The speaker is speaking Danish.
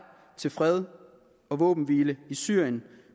til fred og våbenhvile i syrien